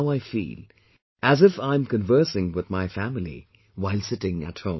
Now I feel as if I'm conversing with my family while sitting at home